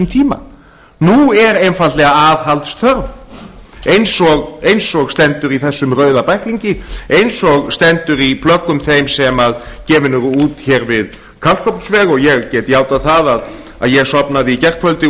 tíma nú er einfaldlega aðhald þörf eins og stendur í þessum rauða bæklingi eins og stendur í plöggum þeim sem gefin eru út hér við kalkofnsveg og ég get játað það að ég sofnaði í gærkvöldi